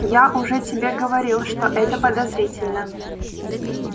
я уже тебе говорил что это подозрительно